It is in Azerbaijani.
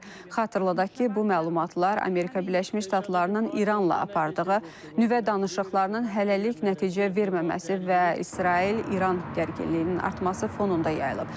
Xatırladaq ki, bu məlumatlar Amerika Birləşmiş Ştatlarının İranla apardığı nüvə danışıqlarının hələlik nəticə verməməsi və İsrail, İran gərginliyinin artması fonunda yayılıb.